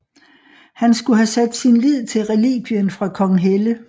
Han skal have sat sin lid til relikvien fra Konghelle